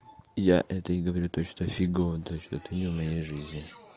я это и говорю то что фигово то что ты не в моей жизни